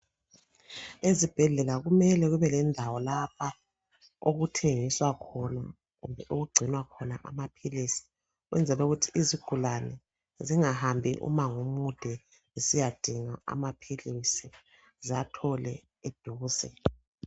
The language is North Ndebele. Ezibhedlela kumele kube lendawo lapha okuthengiswa khona kumbe okugcinwa khona amapilisi ukwenzela ukuthi izigulane zingahambi umango omude zisiyadinga amapilisi zathole eduze.